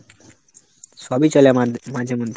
সবই চলে আমাদের মাঝে মধ্যে।